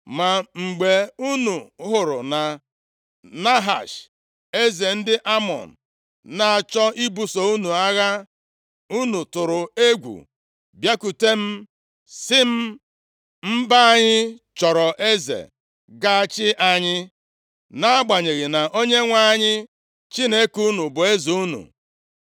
“Ma mgbe unu hụrụ na Nahash, eze ndị Amọn na-achọ ibuso unu agha, unu tụrụ egwu bịakwute m sị m, ‘Mba, anyị chọrọ eze ga-achị anyị,’ nʼagbanyeghị na Onyenwe anyị Chineke unu bụ eze unu.